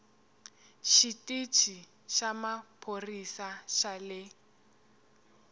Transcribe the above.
xitichi xa maphorisa xa le